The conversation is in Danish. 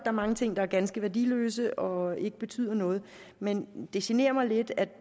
er mange ting der er ganske værdiløse og ikke betyder noget men det generer mig lidt at